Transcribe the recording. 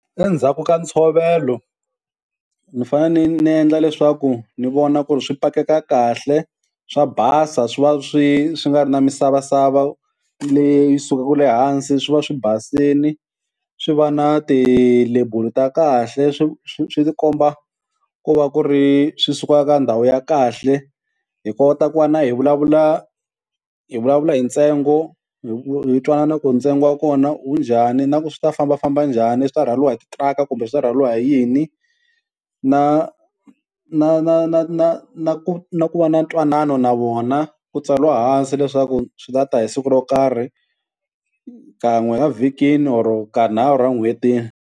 Endzhaku ka ntshovelo, ni fanele ni ni endla leswaku ni vona ku ri swi pakeka kahle swa basa swi va swi swi nga ri na misavasava leyi sukaku le hansi, swi va swi basini swi va na tilebulu ta kahle swi swi swi komba ku va ku ri swi suka ka ndhawu ya kahle hi kota ku va na hi vulavula hi vulavula hi ntsengo hi twanana ku ntsengo wa kona wu njhani, na ku swi ta fambafamba njhani swi ta rhwariwa hi titiraka kumbe swi ta rhwaliwa hi yini, na na na na na na ku na ku va na ntwanano na vona ku tsariwa hansi leswaku swi nga ta hi siku ro karhi kan'we a vhikini or ka nharhu n'hwetini.